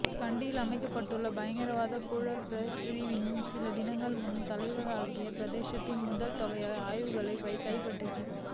கண்டியில் அமைந்துள்ள பயங்கரவாத புலனாய்வுப் பிரிவினர் சில தினங்களுக்கு முன் தலவாக்கலை பிரதேசத்தில் பெரும் தொகையான ஆயுதங்களைக் கைப்பற்றினர்